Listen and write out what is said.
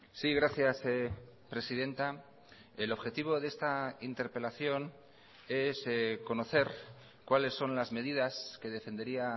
sí gracias presidenta el objetivo de esta interpelación es conocer cuáles son las medidas que defendería